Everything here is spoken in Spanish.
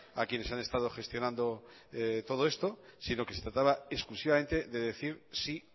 a quienes han estado gestionando todo esto sino que se trataba exclusivamente de decir sí